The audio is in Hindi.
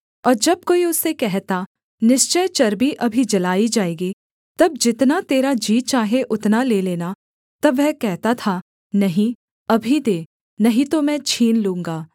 और जब कोई उससे कहता निश्चय चर्बी अभी जलाई जाएगी तब जितना तेरा जी चाहे उतना ले लेना तब वह कहता था नहीं अभी दे नहीं तो मैं छीन लूँगा